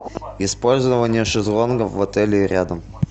использование шезлонгов в отеле и рядом